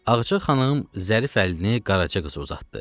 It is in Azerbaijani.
Ağca xanım zərif əlini Qaraca qıza uzatdı.